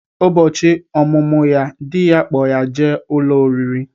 Ụbọchị ọmụmụ ya, dị ya kpọ ya jee ụlọ oriri